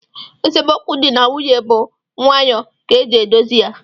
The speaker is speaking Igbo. Esemokwu di na nwunye bu nwayoo ka e ji edozi ya